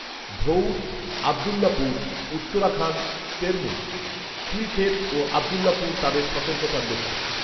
ধঊর, আব্দুল্লাহপুর, উত্তরখান তেরমুখ, খিলখেত ও আব্দুল্লাপুর তাদের সতর্কতার লক্ষ্য